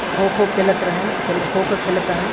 खो-खो खेलत रहे खेल खो-खो खेलता है।